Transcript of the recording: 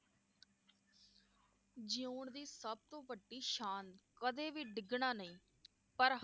ਜੀਉਣ ਦੀ ਸਬਤੋਂ ਵੱਡੀ ਸ਼ਾਨ, ਕਦੇ ਵੀ ਡਿੱਗਣਾ ਨਹੀਂ ਪਰ